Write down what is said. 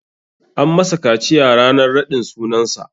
An masa kaciya ranar raɗin sunan sa.